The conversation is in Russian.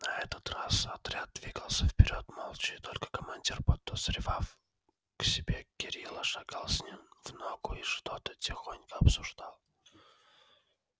на этот раз отряд двигался вперёд молча и только командир подозревав к себе кирилла шагал с ним в ногу и что-то тихонько обсуждал